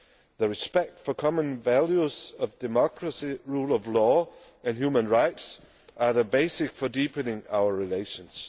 The respect for common values of democracy, the rule of law and human rights are the basis for deepening our relations.